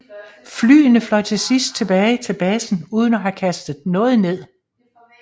Flyene fløj til sidst tilbage til basen uden at have kastet noget ned